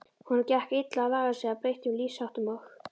Honum gekk illa að laga sig að breyttum lífsháttum og